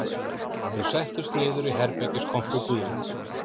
Þau settust niður í herbergiskompu Guðlaugs